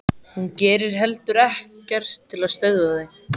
Hún gerir heldur ekkert til að stöðva þau.